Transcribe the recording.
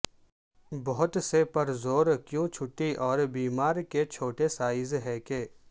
بہت سے پر زور کیوں چھٹی اور بیمار کے چھوٹے سائز ہے کہ